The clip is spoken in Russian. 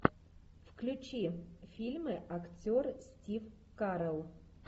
включи фильмы актер стив карелл